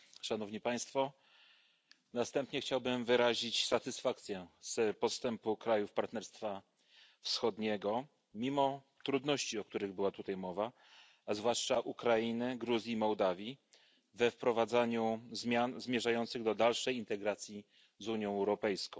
Na wstępie chciałbym wyrazić satysfakcję z postępu krajów Partnerstwa Wschodniego mimo trudności, o których była tutaj mowa a zwłaszcza z postępów Ukrainy, Gruzji i Mołdawii we wprowadzaniu zmian zmierzających do dalszej integracji z Unią Europejską.